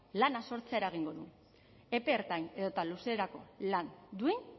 lana sortzera eragingo du epe ertain edota luzerako lan duin